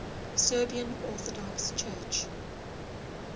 serbian orthodox church